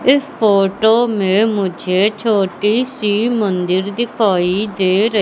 इस फोटो में मुझे छोटी सी मंदिर दिखाई दे र--